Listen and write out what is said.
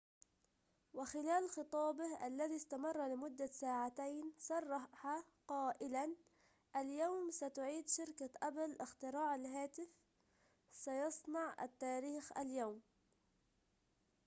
وخلال خطابه الذي استمر لمدة ساعتين صرح قائلاً اليوم ستعيد شركة أبل اختراع الهاتف سنصنع التاريخ اليوم